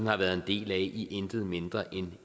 har været en del af i intet mindre end